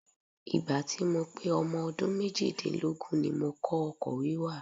Ìgbà tí mo pé ọmọ ọdún méjì-dínlógún ni mo kọ́ ọkọ̀ wíwà.